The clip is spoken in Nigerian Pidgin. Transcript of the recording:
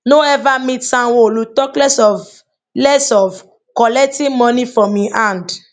no ever meet sanwoolu talk less of less of collecting money from im hand